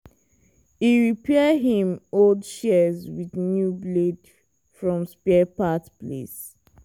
e repair him old shears with new blade from spare part place.